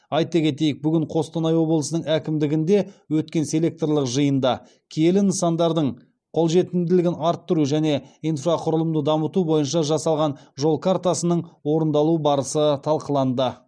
айта кетейік бүгін қостанай облысының әкімдігінде өткен селекторлық жиында киелі нысандардың қолжетімділігін арттыру және инфрақұрылымды дамыту бойынша жасалған жол картасының орындалу барысы талқыланды